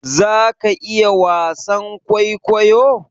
za ka iya wasan kwaikwayo?